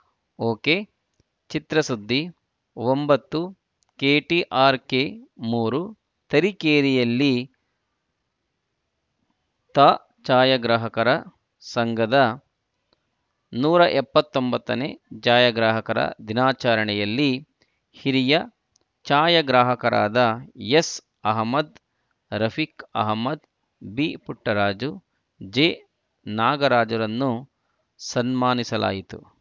ಒಕೆಚಿತ್ರಸುದ್ದಿ ಒಂಬತ್ತು ಕೆಟಿಆರ್‌ಕೆ ಮೂರು ತರೀಕೆರೆಯಲ್ಲಿ ತಾ ಛಾಯಾಗ್ರಾಹಕರ ಸಂಘದ ನೂರ ಎಪ್ಪತ್ತೊಂಬತ್ತನೇ ಛಾಯಾಗ್ರಾಹಕರ ದಿನಾಚರಣೆಯಲ್ಲಿ ಹಿರಿಯ ಛಾಯಾಗ್ರಾಹಕರಾದ ಎಸ್‌ಆಹಮದ್‌ ರಫೀಕ್‌ ಆಹಮದ್‌ ಬಿಪುಟ್ಟರಾಜು ಜಿನಾಗರಾಜುರನ್ನು ಸನ್ಮಾನಿಸಲಾಯಿತು